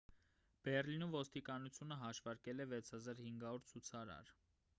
բեռլինում ոստիկանությունը հաշվարկել է 6,500 ցուցարար